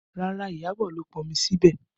Rárá, Iyabọ̀ ló pọn omi sí ibẹ̀